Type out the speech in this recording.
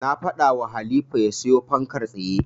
Na faɗawa Halifa ya siyo fankar tsaye.